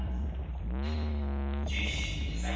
Nei, ég er ekkert svangur.